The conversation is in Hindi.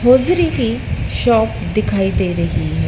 होजरी की शॉप दिखाई दे रही है।